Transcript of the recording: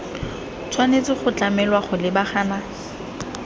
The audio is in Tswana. tshwanetse go tlamelwa go lebagana